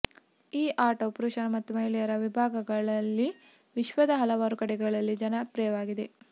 ಈ ಆಟವು ಪುರುಷರ ಮತ್ತು ಮಹಿಳೆಯರ ವಿಭಾಗಗಳಲ್ಲಿ ವಿಶ್ವದ ಹಲವಾರು ಕಡೆಗಳಲ್ಲಿ ಜನಪ್ರಿಯವಾಗಿದೆ